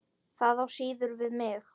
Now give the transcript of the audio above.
Það á síður við mig.